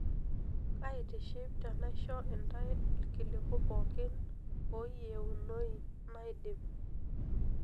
Kaitiship tenaisho intae ilkiliku pookin ooyienoi laidim.